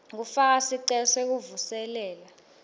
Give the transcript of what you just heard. kufaka sicelo sekuvuselela